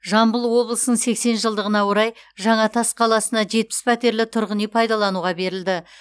жамбыл облысының сексен жылдығына орай жаңатас қаласына жетпіс пәтерлі тұрғын үй пайдалануға берілді